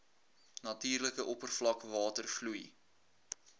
natuurlike oppervlakwater vloei